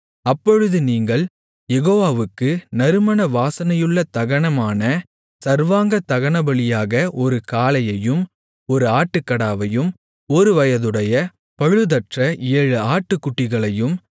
அப்பொழுது நீங்கள் யெகோவாவுக்கு நறுமண வாசனையுள்ள தகனமான சர்வாங்கதகனபலியாக ஒரு காளையையும் ஒரு ஆட்டுக்கடாவையும் ஒருவயதுடைய பழுதற்ற ஏழு ஆட்டுக்குட்டிகளையும்